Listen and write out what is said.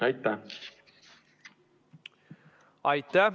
Aitäh!